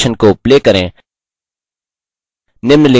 इस animation को play करें